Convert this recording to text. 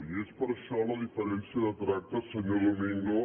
i és per això la diferència de tracte senyor domingo